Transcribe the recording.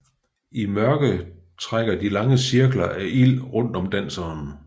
I mørket trækker de lange cirkler af ild rundt om danseren